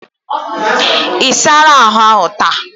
Isala ahu taa?